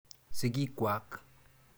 Sigik kwak.